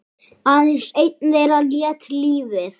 Aðeins einn þeirra lét lífið.